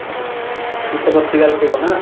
କିଛି ତ ପ୍ରତିକାର ଥିବ ନା ?